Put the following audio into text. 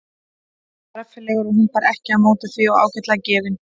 Hann var reffilegur hún bar ekki á móti því og ágætlega gefinn.